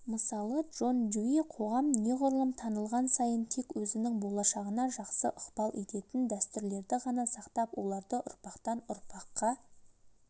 мысалы джон дьюи қоғам неғұрлым танылған сайын тек өзінің болашағына жақсы ықпал ететін дәстүрлерді ғана сақтап оларды ұрпақтан-ұрпақққа